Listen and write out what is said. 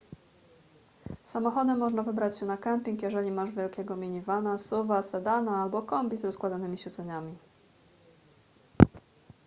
samochodem można wybrać się na kemping jeżeli masz wielkiego minivana suv-a sedana albo kombi z rozkładanymi siedzeniami